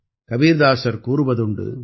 கபீர்தாசர் கூறுவதுண்டு